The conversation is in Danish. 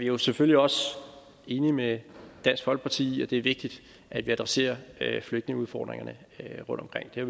jo selvfølgelig også enige med dansk folkeparti i at det er vigtigt at vi adresserer flygtningeudfordringerne rundtomkring det